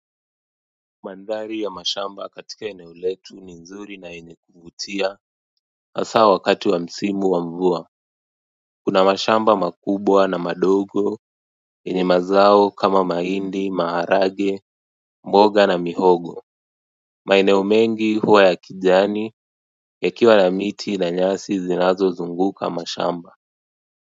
Mandari ya mashamba katika ineo letu ni nzuri na yenye kuvutia hasaa wakati wa msimu wa mvua kuna mashamba makubwa na madogo yenye mazao kama mahindi, maharage, mboga na mihogo maeneo mengi huwa ya kijani yakiwa na miti na nyasi zinazo zunguka mashamba.